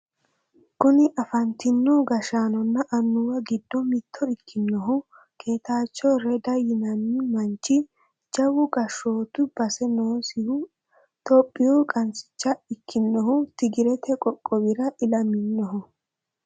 kuni afantino gashaanonna annuwa giddo mitto ikinohu ketaacho reda yinanni manchi jawu gashshootu base noosihu tophiyuu qansicha ikkinohu tigirete qoqqowira ilaminoho.